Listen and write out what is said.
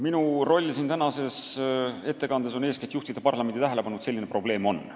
Minu roll tänases ettekandes on eeskätt juhtida parlamendi tähelepanu, et selline probleem on.